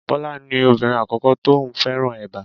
Bọlá ni obìnrin àkọ́kọ́ tó ní òun fẹ́ràn eba.